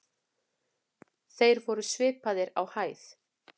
Þeir voru svipaðir á hæð.